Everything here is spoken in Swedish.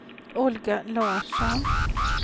Olga Larsson